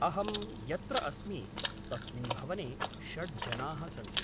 अहं यत्र अस्मि तस्मिन् भवने षड् जनाः सन्ति।